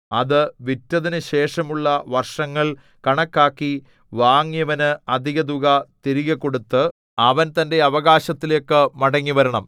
അത് വിറ്റതിനുശേഷമുള്ള വർഷങ്ങൾ കണക്കാക്കി വാങ്ങിയവന് അധികതുക തിരികെക്കൊടുത്ത് അവൻ തന്റെ അവകാശത്തിലേക്കു മടങ്ങിവരണം